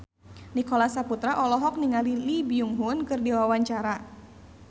Nicholas Saputra olohok ningali Lee Byung Hun keur diwawancara